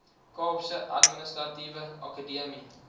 kaapse administratiewe akademie